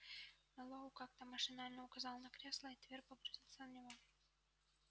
мэллоу как-то машинально указал на кресло и твер погрузился в него